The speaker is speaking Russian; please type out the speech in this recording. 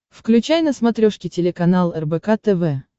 включай на смотрешке телеканал рбк тв